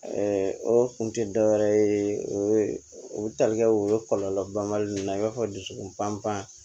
o kun tɛ dɔ wɛrɛ ye o ye o tali kɛ o ye kɔlɔlɔ banbali ninnu na i b'a fɔ dusukun pan pan